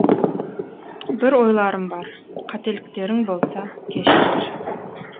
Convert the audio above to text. бір ойларымбар қателіктерің болса кешірер